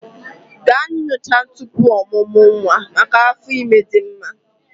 Gaa nyocha tupu ọmụmụ nwa maka afọ ime dị mma